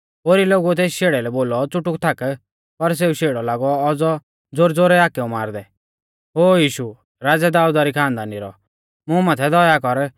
ओरी लोगुऐ तेस शेड़ै लै बोलौ च़ुटुक थाक पर सेऊ शेड़ौ लागौ औज़ौ ज़ोरैज़ोरै हाकेउ मारदै ओ यीशु राज़ै दाऊदा री खानदानी रौ मुं माथै दया कर